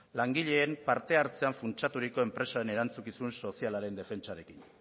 langileen parte hartzean funtsaturiko enpresen erantzukizun sozialaren defentsarekin